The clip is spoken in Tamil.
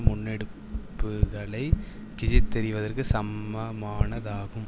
முன்னெடுப்புகளை கிழித்தெறிவதற்கு சமமானதாகும்